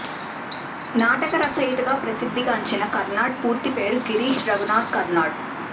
నాటక రచయితగా ప్రసిద్ధిగాంచిన కర్నాడ్ పూర్తి పేరు గిరీష్ రఘునాథ్ కర్నాడ్